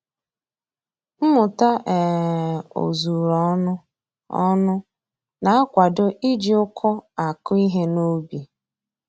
Mmụta um ozuru ọnụ ọnụ na-akwado iji uku akụ ihe n'ubi